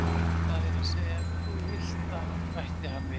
Það er að segja ef þú vilt það, bætti hann við.